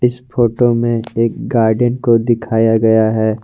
इस फोटो में एक गार्डन को दिखाया गया है।